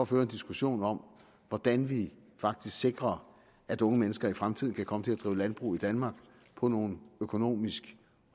føre en diskussion om hvordan vi faktisk sikrer at unge mennesker i fremtiden kan komme til at drive landbrug i danmark på nogle økonomisk